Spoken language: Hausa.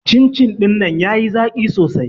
Cin-cin ɗinnan ya yi zaƙi sosai